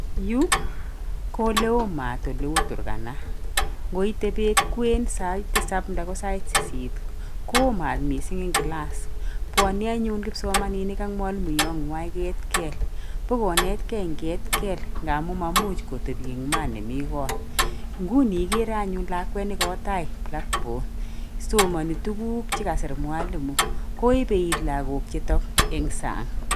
Yu ko oleo maat oleu Turkana. Ngoite beet kwen sait tisap ndako sait sisit koo maat mising eng class. Bwonei anyun kipsomaninik ak mwalimoyotnywa eketkeel. Bo konetkei en ketkeel ngamu mamuch kotebi eng maat nemi kot. Nguni ikere anyun lakwet ne kowo tai blackboard. Somani tuguk che kasiir mwalimu koebe iit lagookchuto eng sang.